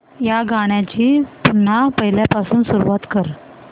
या गाण्या ची पुन्हा पहिल्यापासून सुरुवात कर